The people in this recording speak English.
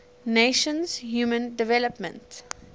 nations human development